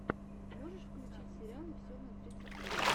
можешь включить сериалы все на двадцать три